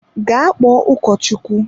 Gaa kpọọ ụkọchukwu!